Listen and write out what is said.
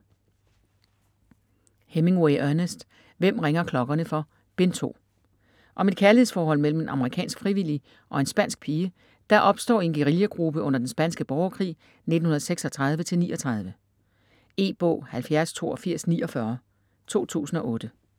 Hemingway, Ernest: Hvem ringer klokkerne for?: Bind 2 Om et kærlighedsforhold mellem en amerikansk frivillig og en spansk pige, der opstår i en guerillagruppe under den spanske borgerkrig 1936-39. E-bog 708249 2008.